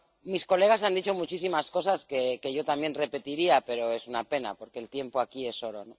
Mis colegas han dicho muchísimas cosas que yo también repetiría, pero es una pena, porque el tiempo aquí es oro.